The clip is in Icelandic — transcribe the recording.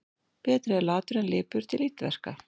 Betri er latur en lipur til illverka.